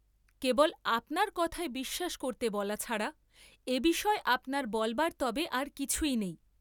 কেবল আপনার কথায় বিশ্বাস করতে বলা ছাড়া এবিষয়ে আপনার বলবার তবে আর কিছুই নেই।